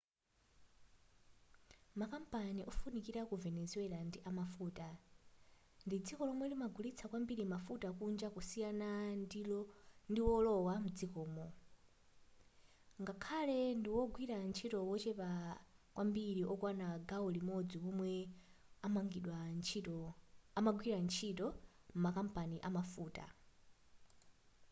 makampani ofunikira ku venezuela ndi amafuta ndi dziko lomwe limagulitsa kwambiri mafuta kunja kusiyana ndiwolowa mdzikomo ngakhale ndiwogwira ntchito wochepa kwambiri wokwana gawo limodzi womwe amagwira ntchito m'makampani amafuta